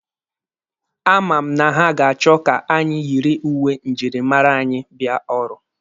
A ma m na ha ga-achọ ka anyị yiri uwe njirimara anyị bịa ọrụ.